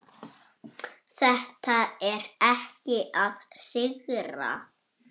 Þetta er ekki að sigra.